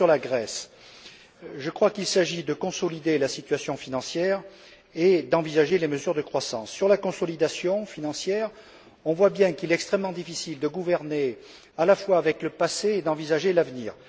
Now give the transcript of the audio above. D'abord sur la Grèce. Je crois qu'il s'agit de consolider la situation financière et d'envisager les mesures de croissance. Sur la consolidation financière, on voit bien qu'il est extrêmement difficile de gouverner avec le passé tout en envisageant l'avenir.